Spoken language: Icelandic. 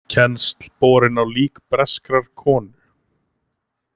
Kennsl borin á lík breskrar konu